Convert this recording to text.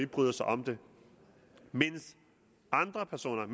bryder sig om det mens andre personer